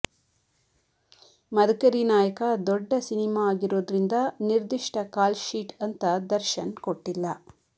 ಮದಕರಿ ನಾಯಕ ದೊಡ್ಡ ಸಿನಿಮಾ ಆಗಿರೋದ್ರಿಂದ ನಿರ್ದಿಷ್ಟಕಾಲ್ ಶೀಟ್ ಅಂತ ದರ್ಶನ್ ಕೊಟ್ಟಿಲ್ಲ